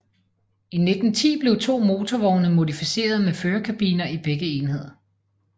I 1910 blev to motorvogne modificeret med førerkabiner i begge ender